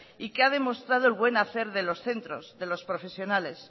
y que ha demostrado el buen hacer de los centros de los profesionales